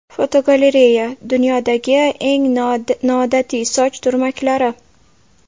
Fotogalereya: Dunyodagi eng noodatiy soch turmaklari.